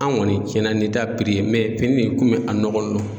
An kɔni tiɲɛna ni ta ye in komi a nɔgɔ n don.